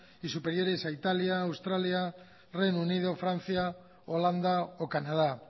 y superiores a italia australia reino unido francia holanda o canadá